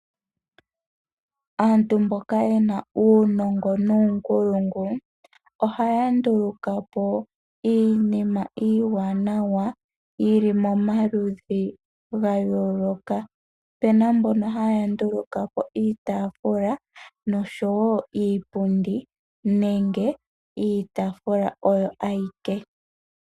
Aantu mboka yena uunongo nuunkulungu, oha ya ndulukapo iinima iiwanawa yi li mo ma ludhi ga yooloka. Opuna mbono ha ya ndulukapo iitafula, nosho wo iipundi, nenge iitaafula oyo awike.